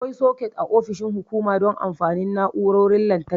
Akwai soket a ofishin hukuma don amfanin na'urorin lantarki.